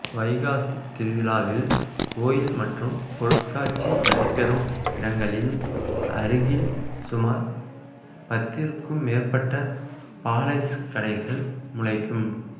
வைகாசித் திருவிழாவில் கோயில் மற்றும் பொருட்காட்சி நடைபெறும் இடங்களின் அருகில் சுமார் பத்திற்கும் மேற்பட்ட பால் ஐஸ் கடைகள் முளைக்கும்